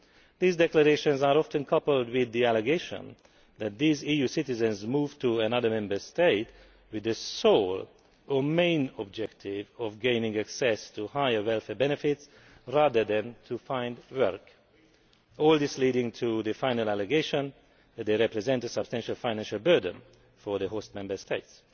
These declarations are often coupled with the allegation that these EU citizens move to another Member State with the sole, or main, objective of gaining access to higher welfare benefits, rather than to find work, all this leading to the final allegation that they represent a substantial financial burden for host Member States.